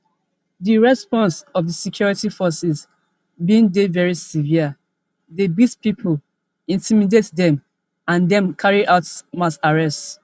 di response of di security forces bin dey very severe dem beat pipo intimidate dem and dem carry out mass arrests